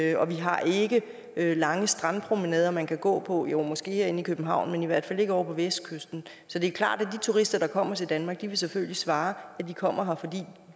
ikke og vi har ikke lange strandpromenader man kan gå på jo måske herinde i københavn men i hvert fald ikke ovre på vestkysten så det er klart at de turister der kommer til danmark selvfølgelig vil svare at de kommer her fordi